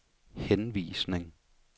henvisning